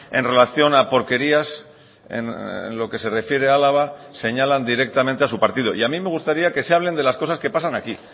en relación a porquerías en lo que se refiere a álava señalan directamente a su partido y a mí me gustaría que se hablen de las cosas que pasan aquí